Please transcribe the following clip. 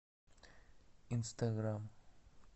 инстаграм